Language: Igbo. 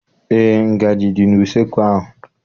Eé, ngaji dị n'useekwu ahụ.